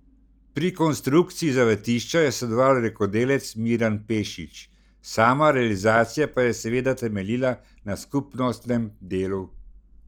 Pri konstrukciji zavetišča je sodeloval rokodelec Miran Pešić, sama realizacija pa je seveda temeljila na skupnostnem delu.